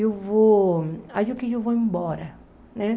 Eu vou... Acho que eu vou embora, né?